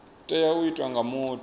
tea u itwa nga muthu